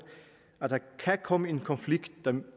at der kan komme en konflikt